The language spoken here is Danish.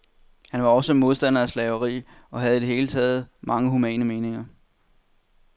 Han var også modstander af slaveri og havde i det hele taget mange humane meninger.